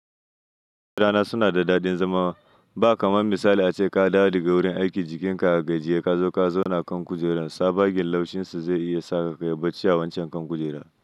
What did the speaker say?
Kujerana suna da daɗin zama. Ba kamar misali ace ka dawo daga wurin aiki jikinka a gajiye kazo ka zauna kan kujera, tsabagen laushin su zai iya saka kayi bacci a wancan kan kujera.